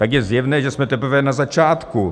Tak je zjevné, že jsme teprve na začátku.